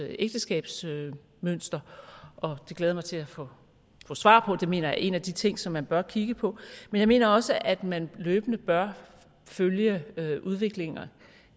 ægteskabsmønstre og det glæder jeg mig til at få svar på det mener jeg er en af de ting som man bør kigge på men jeg mener også at man løbende bør følge udviklingen